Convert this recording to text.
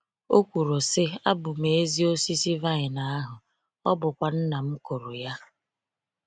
O kwuru, sị: “Abụ m ezi osisi vaịn ahu, ọ bụkwa nnam kụrụ ya.”